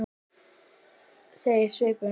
segir svipur hans.